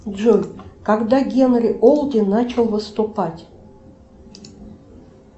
джой когда генри олди начал выступать